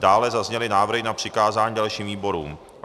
Dále zazněly návrhy na přikázání dalším výborům.